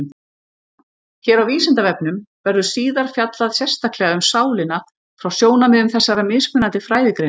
Hér á Vísindavefnum verður síðar fjallað sérstaklega um sálina frá sjónarmiðum þessara mismunandi fræðigreina.